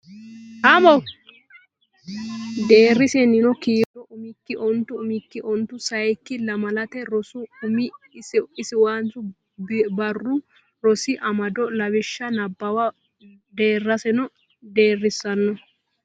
Deerrisaano kiiro Batinyisaano kiiro umikki onte umikki onte sayikki Lamalate Rosi Umo Ishinaawa Barru Rosi Amado Lawishsha Nabbawa Deerrisaano Deerrisaano.